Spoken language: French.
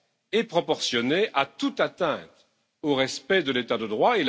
et proportionnée à toute atteinte au respect de l'état de droit.